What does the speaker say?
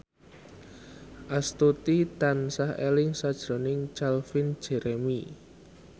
Astuti tansah eling sakjroning Calvin Jeremy